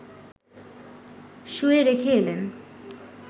শুইয়ে রেখে এলেন